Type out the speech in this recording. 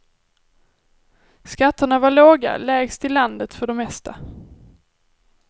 Skatterna var låga, lägst i landet för det mesta.